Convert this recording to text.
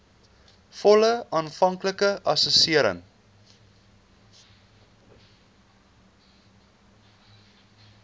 volle aanvanklike assessering